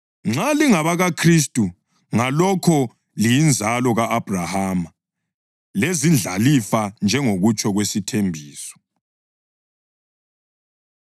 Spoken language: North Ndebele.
Nxa lingabakaKhristu, ngalokho liyinzalo ka-Abhrahama, lezindlalifa njengokutsho kwesithembiso.